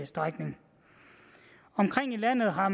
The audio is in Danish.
strækning omkring i landet har